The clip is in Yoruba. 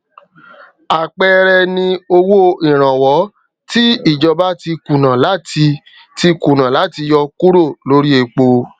àpẹẹrẹ ni owó ìrànwọ tí ìjọba ti kùnà láti ti kùnà láti yọ kúrò lóri epo